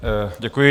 Děkuji.